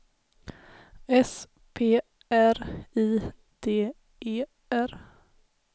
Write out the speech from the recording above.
S P R I D E R